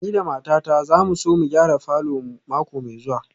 Ni da matata za mu so mu gyara falor mu mako mai zuwa